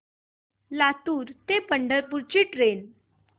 लातूर ते पंढरपूर ची ट्रेन